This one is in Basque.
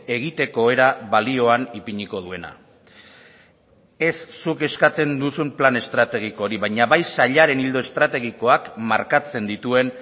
egiteko era balioan ipiniko duena ez zuk eskatzen duzun plan estrategiko hori baina bai sailaren ildo estrategikoak markatzen dituen